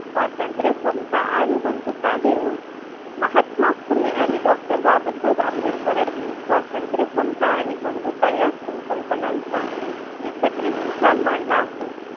स्वतंत्र, समता आणि बंधुता हे. महात्मा फुले आणि डॉ. बाबासाहेब आंबेडकरांनी स्वतंत्र, समता आणि बंधुता या संकल्पनाचा एकत्रित विचार मांडला आहे.